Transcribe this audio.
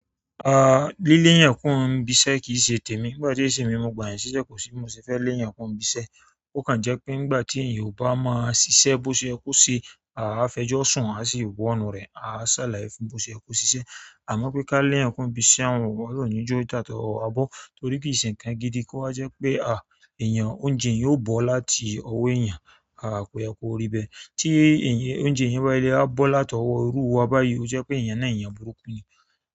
Líle èyàn kúrò n ibiṣẹ́ kì se tèmi. Nígbà tí èsì mi mọ̀ gbà ṣíṣe kò sí bi mo se fẹ́ lé èyàn kúrò ibiṣẹ́. Ó kàn jẹ́ pé nígbà tí èyàn bá máa ṣiṣẹ́ bó ṣe ye ko se, à fẹjọ́ sùn, à sì wọ̀ọnú rẹ̀, à salaye fún bó ṣe ye ko ṣiṣẹ́. Àmọ́ pé ká lé èyàn kúrò ibiṣẹ́ hun ọ̀lohun ó ní je atọwọ́ wa bọ́ torí ki n se nkan gidi kó wa jẹ́ pe èyàn, oúnjẹ eyan yóò bọ́ láti ọwọ́ èyàn, à kò yẹ kó rí bẹ́. Tí èyàn, oúnjẹ eyan báyi le a bọ́ láti ọwọ́ irú wa báyìí, ó jẹ́ pé èyàn náà èyàn burúkú ni.